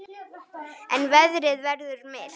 En veðrið verður milt.